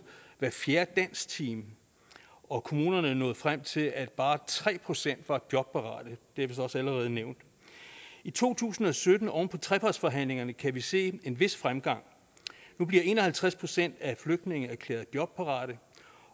hver fjerde dansktime og kommunerne nåede frem til at bare tre procent var jobparate det er vist også allerede nævnt i to tusind og sytten oven på trepartsforhandlingerne kan vi se en vis fremgang nu bliver en og halvtreds procent af flygtninge erklæret jobparate